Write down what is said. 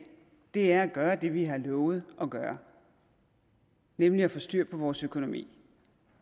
er at gøre det vi har lovet at gøre nemlig at få styr på vores økonomi